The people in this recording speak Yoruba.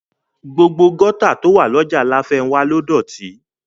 Gbogbo gọ́tà tó wà lọ́jà láfénwá ló dọ̀tí